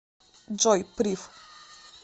джой прив